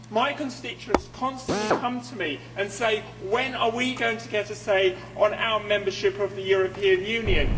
My constituents constantly come to me and say, When are we going to get a say on our membership of the European Union?'